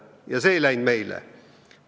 Ja see meile ei sobinud.